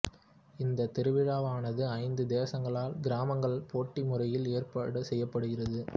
இந்தத் திருவிழாவானது ஐந்து தேசங்களால் கிராமங்கள் போட்டி முறையில் ஏற்பாடு செய்யப்படுகிறது